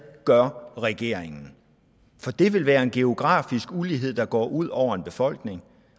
gør regeringen det vil være en geografisk ulighed der går ud over befolkningen